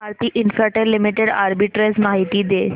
Bharti Infratel limited arbitrage माहिती दे